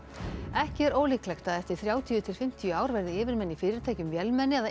ekki er ólíklegt að eftir þrjátíu til fimmtíu ár verði yfirmenn í fyrirtækjum vélmenni eða